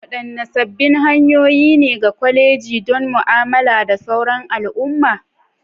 Wadanne sabbin hanyoyi ne ga kwalejoji don mu'amala da sauran al'umma?